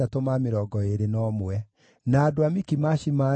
Nao aini maarĩ: njiaro cia Asafu ciarĩ 148.